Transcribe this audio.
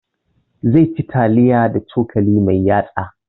Zai ci taliya da cokali mai yatsa